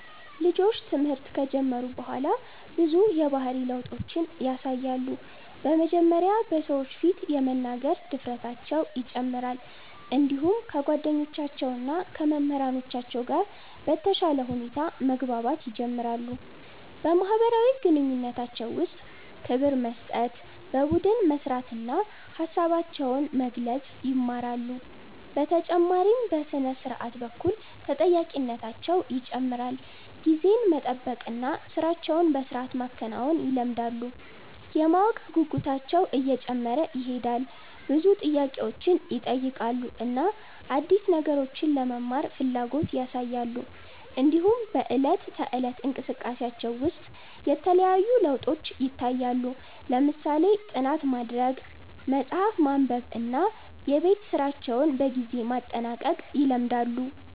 ልጆች ትምህርት ከጀመሩ በኋላ ብዙ የባህሪ ለውጦችን ያሳያሉ። በመጀመሪያ በሰዎች ፊት የመናገር ድፍረታቸው ይጨምራል፣ እንዲሁም ከጓደኞቻቸው እና ከመምህራኖቻቸው ጋር በተሻለ ሁኔታ መግባባት ይጀምራሉ። በማህበራዊ ግንኙነታቸው ውስጥ ክብር መስጠት፣ በቡድን መስራት እና ሀሳባቸውን መግለጽ ይማራሉ። በተጨማሪም በሥነ-ስርዓት በኩል ተጠያቂነታቸው ይጨምራል፣ ጊዜን መጠበቅ እና ሥራቸውን በሥርዓት ማከናወን ይለምዳሉ። የማወቅ ጉጉታቸውም እየጨመረ ይሄዳል፣ ብዙ ጥያቄዎችን ይጠይቃሉ እና አዲስ ነገሮችን ለመማር ፍላጎት ያሳያሉ። እንዲሁም በዕለት ተዕለት እንቅስቃሴያቸው ውስጥ የተለያዩ ለውጦች ይታያሉ፣ ለምሳሌ ጥናት ማድረግ፣ መጽሐፍ ማንበብ እና የቤት ስራቸውን በጊዜ ማጠናቀቅ ይለምዳሉ።